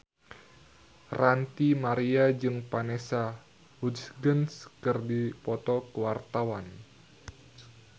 Ranty Maria jeung Vanessa Hudgens keur dipoto ku wartawan